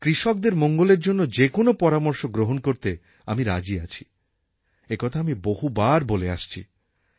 কৃষকদের মঙ্গলের জন্য যে কোন পরামর্শ গ্রহণ করতে আমি রাজি আছি একথা আমি বহুবার বলে আসছি